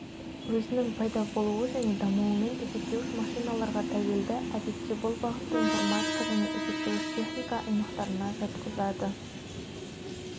өзінің пайда болуы және дамуымен есептеуіш машиналарға тәуелді әдетте бұл бағытты информатика және есептеуіш техника аймақтарына жатқызады